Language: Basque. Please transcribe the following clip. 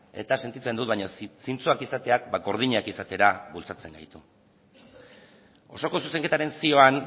eta sentitzen dut baina zintzoak izateak gordinak izatera bultzatzen gaitu osoko zuzenketaren zioan